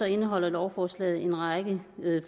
indeholder lovforslaget en række